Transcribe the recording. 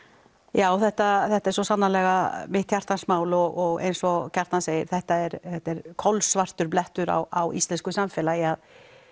já þetta þetta er svo sannarlega mitt hjartans mál og eins og Kjartan segir þetta er þetta er kolsvartur blettur á íslensku samfélagi